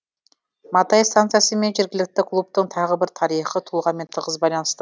матай станциясы мен жергілікті клубтың тағы бір тарихи тұлғамен тығыз байланысты